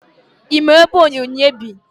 Ị ma ebe Onyinye bi?